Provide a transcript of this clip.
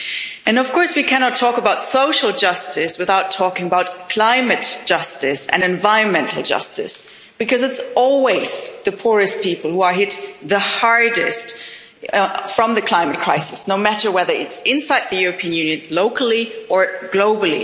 We cannot, of course, talk about social justice without talking about climate justice and environmental justice, because it's always the poorest people who are hit the hardest by the climate crisis, no matter whether it's inside the European Union locally, or globally.